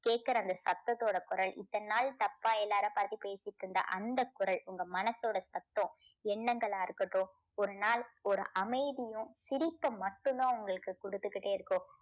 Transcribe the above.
கேக்குற அந்த சத்தத்தோட குரல் இத்தனை நாள் தப்பா எல்லாரும் பார்த்துப் பேசிட்டு இருந்த அந்த குரல் உங்க மனசோட சத்தம் எண்ணங்களா இருக்கட்டும் ஒரு நாள் ஒரு அமைதியும் சிரிப்ப மட்டும் தான் உங்களுக்கு கொடுத்துக்கிட்டே இருக்கும்.